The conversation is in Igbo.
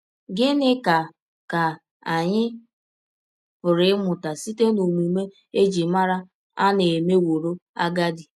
Gịnị ka ka anyị pụrụ ịmụta site n’ọmụme e ji mara Ana mewọrọ agadi?